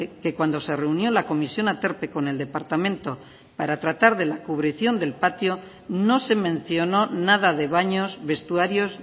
que cuando se reunió la comisión aterpe con el departamento para tratar de la cubrición del patio no se mencionó nada de baños vestuarios